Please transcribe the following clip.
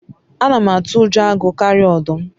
ana m atu ujo agu karia odum